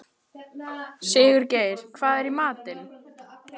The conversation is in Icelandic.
Sigurgeir, hvað er í matinn?